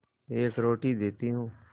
एक रोटी देती हूँ